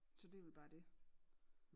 Så det er vel bare det